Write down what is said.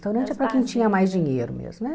Restaurante é para quem tinha mais dinheiro mesmo né.